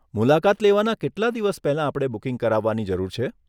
મુલાકાત લેવાના કેટલા દિવસ પહેલા આપણે બુકિંગ કરાવવાની જરૂર છે?